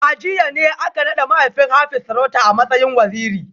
A jiya ne aka nada mahaifin Hafiz sarauta a matsayin Waziri